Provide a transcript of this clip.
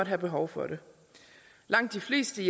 have behov for det langt de fleste